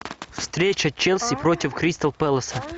встреча челси против кристал пэласа